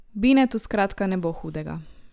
Binetu skratka ne bo hudega.